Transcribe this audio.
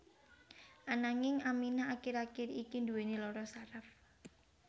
Ananging Aminah akir akir iki nduwèni lara saraf